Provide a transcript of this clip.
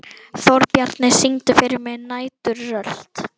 Þórbjarni, syngdu fyrir mig „Næturrölt“.